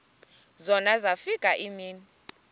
zona zafika iimini